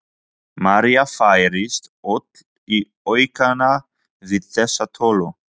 María færist öll í aukana við þessa tölu.